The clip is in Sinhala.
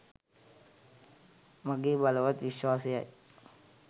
මගේ බලවත් විශ්වාසයයි.